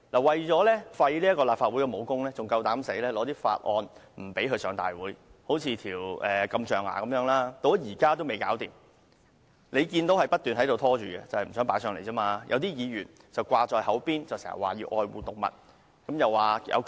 為了廢除立法會的武功，他們竟敢阻止法案提交立法會，例如禁止象牙的法案，現時仍未能處理，該項法案不斷被拖延，正因他們不想把有關法案提交立法會。